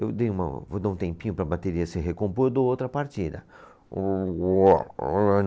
Eu dei uma, vou dar um tempinho para a bateria se recompor e dou outra partida. Uôôó